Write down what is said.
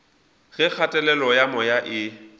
ge kgatelelo ya moya e